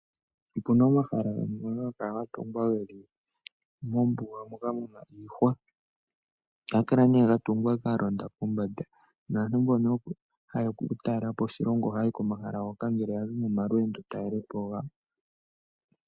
Opuna omahala gamwe ngono haga kala ga tungwa geli mombuga moka muna iihwa. Ohaga kala ga tungwa ga londa pombada naantu mbono ha ye ya oku talela po oshilongo oha ya yi komahala hoka ngele yazi momalweendo ya talele po.